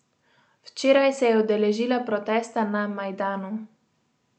Včeraj se je udeležila protesta na Majdanu.